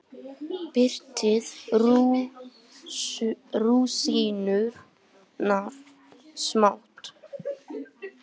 Brytjið rúsínurnar smátt.